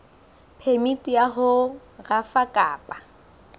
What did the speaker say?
phemiti ya ho rafa kapa